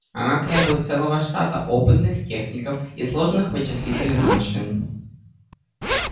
она требует целого штата опытных техников и сложных вычислительных машин